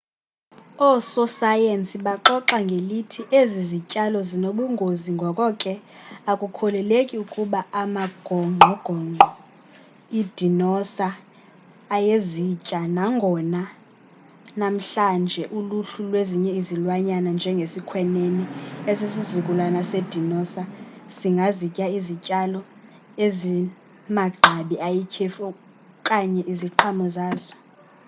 ososayensi baxoxa ngelithi ezi zityalo zinobungozi ngoko ke akukholeleki ukuba amagongqongqo idinosa ayezitya nangona namhlanje uluhlu nezinye izilwanyana njenge sikhwenene esisizukulwana se dinoza singazitya izityalo ezimagqabi ayityhefu okanye iziqhamo zazo